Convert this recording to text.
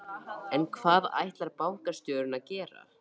En hvað ætlar bankastjórinn að gera?